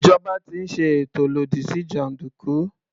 Ìjọba ti ń ṣe ètò lòdì sí jàndùkú.